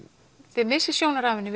þið missið sjónar af henni